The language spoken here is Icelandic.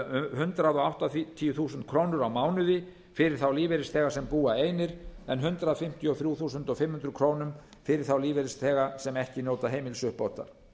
hundrað áttatíu þúsund krónur á mánuði fyrir þá lífeyrisþega sem búa einir en hundrað fimmtíu og þrjú þúsund fimm hundruð krónur fyrir þá lífeyrisþega sem ekki njóta heimilisuppbótar